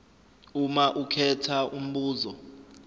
uma ukhetha umbuzo